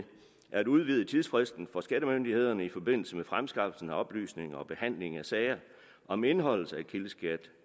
at udvide tidsfristen for skattemyndighederne i forbindelse med fremskaffelse af oplysninger og behandling af sager om indeholdelse af kildeskat